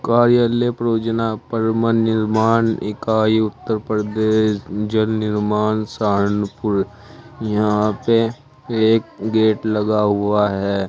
कार्यालय परोजना परमन निर्माण इकाई उत्तर प्रदेश जल निर्माण सहानपुर यहां पे एक गेट लगा हुआ है।